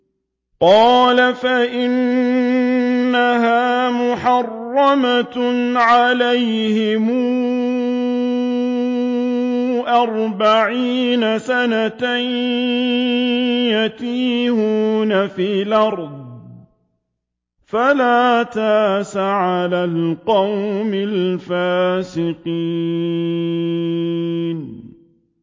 قَالَ فَإِنَّهَا مُحَرَّمَةٌ عَلَيْهِمْ ۛ أَرْبَعِينَ سَنَةً ۛ يَتِيهُونَ فِي الْأَرْضِ ۚ فَلَا تَأْسَ عَلَى الْقَوْمِ الْفَاسِقِينَ